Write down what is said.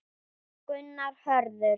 Gunnar Hörður.